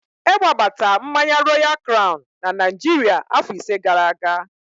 Ewebata mmanya Royal kraun na Naịjirịa afọ ise gara aga.